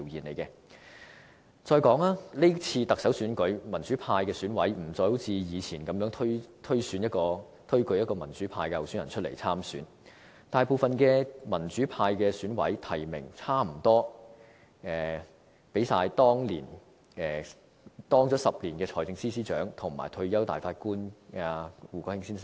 再者，是次行政長官選舉，民主派的選委不再如過去般，推舉民主派候選人出來參選，大部分民主派選委提名擔任了約10年財政司司長的曾俊華先生，以及退休大法官胡國興先生。